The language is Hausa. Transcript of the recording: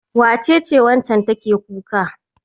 Wace ce waccan take kuka?